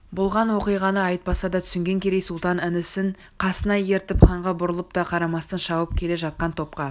болған оқиғаны айтпаса да түсінген керей сұлтан інісін қасына ертіп ханға бұрылып та қарамастан шауып келе жатқан топқа